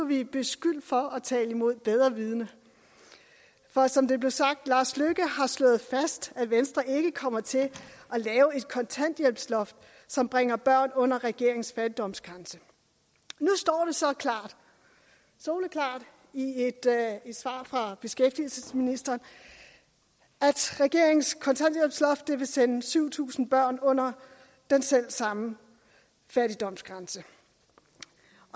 vi beskyldt for at tale imod bedre vidende for som det blev sagt lars løkke har slået fast at venstre ikke kommer til at lave et kontanthjælpsloft som bringer børn under regeringens fattigdomsgrænse nu står det så soleklart i et svar fra beskæftigelsesministeren at regeringens kontanthjælpsloft vil sende syv tusind børn under den selv samme fattigdomsgrænse